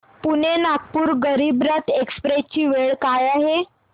Pune Nagpur Garib Rath express ची वेळ काय आहे